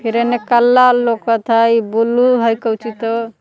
एने काला लौकत हई ई ब्लू है कोची तो।